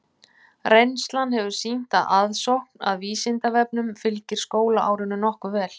Reynslan hefur sýnt að aðsókn að Vísindavefnum fylgir skólaárinu nokkuð vel.